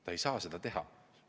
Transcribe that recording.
Nad ei saa seda teha.